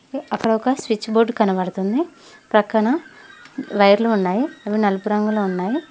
అక్కడొక switch board కనబడుతుంది పక్కన వైర్లు ఉన్నవి అవి నలుపు రంగులో ఉన్నాయి.